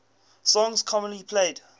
songs commonly played